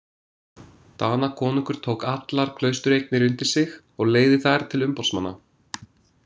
Danakonungur tók allar klaustureignir undir sig og leigði þær til umboðsmanna.